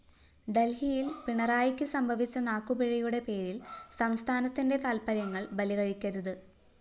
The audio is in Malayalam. ഡല്‍ഹിയില്‍ പിണറായിക്ക് സംഭവിച്ച നാക്കുപിഴയുടെ പേരില്‍ സംസ്ഥാനത്തിന്റെ താല്‍പ്പര്യങ്ങള്‍ ബലികഴിക്കരുത്